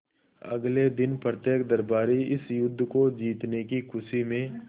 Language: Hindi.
अगले दिन प्रत्येक दरबारी इस युद्ध को जीतने की खुशी में